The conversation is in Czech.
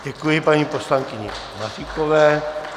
Děkuji paní poslankyni Maříkové.